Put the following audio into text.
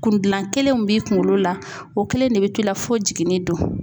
Kungilan kelen mun b'i kunkolo la ,o kelen de be k'i la fo jiginni don.